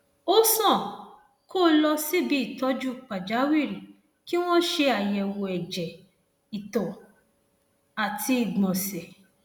ó sàn kó o lọ síbi ìtọjú pàjáwìrì kí wọn ṣe àyẹwò ẹjẹ ìtọ àti ìgbọnsẹ